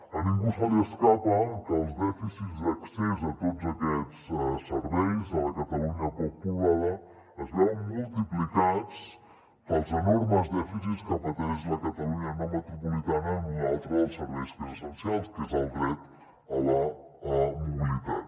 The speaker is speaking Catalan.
a ningú se li escapa que els dèficits d’accés a tots aquests serveis a la catalunya poc poblada es veuen multiplicats pels enormes dèficits que pateix la catalunya no metropolitana en un altre dels serveis que és essencial que és el dret a la mobilitat